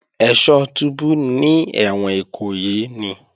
Ẹ́ṣọ́ túbú ní ẹ̀wọ̀n Ìkòyí ni